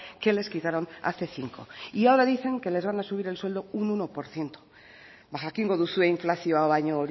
que les quitaron hace cinco y ahora dicen que les van a subir el sueldo un uno por ciento ba jakingo duzue inflazio